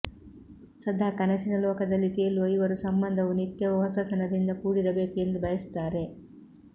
ಸದಾ ಕನಸಿನ ಲೋಕದಲ್ಲಿ ತೇಲುವ ಇವರು ಸಂಬಂಧವು ನಿತ್ಯವೂ ಹೊಸತನದಿಂದ ಕೂಡಿರಬೇಕು ಎಂದು ಬಯಸುತ್ತಾರೆ